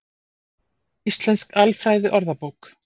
Íslensk alfræðiorðabók.